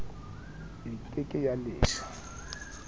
e ke ke ya leshwa